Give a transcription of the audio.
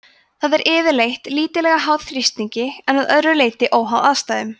það er yfirleitt lítillega háð þrýstingi en að öðru leyti óháð aðstæðum